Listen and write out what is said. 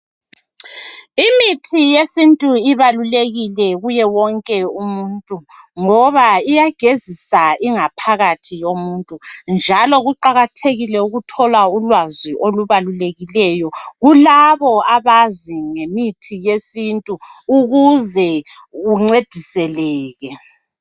Imithi yesintu ibalulekile kuye wonke umuntu ngoba iyagezisa ingaphakathi yomuntu njalo kuqakathekile ukuthola ulwazi olubalulekileyo kulabo abazi ngemithi yesintu ukuze uncediseke.